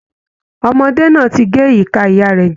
Ọmọdé náà ti gé ìka ìyá rẹ̀ jẹ